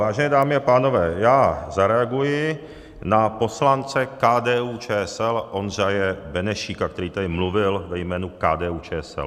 Vážené dámy a pánové, já zareaguji na poslance KDU-ČSL Ondřeje Benešíka, který tady mluvil ve jménu KDU-ČSL.